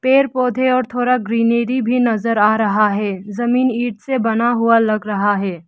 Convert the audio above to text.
पेड़ पौधे और थोड़ा ग्रीनरी भी नजर आ रहा है जमीन ईंट से बना हुआ लग रहा है।